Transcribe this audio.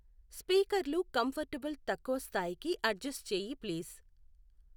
స్పీకర్లు కంఫర్టబుల్ తక్కువ స్థాయి కి అడ్జస్ట్ చేయి ప్లీజ్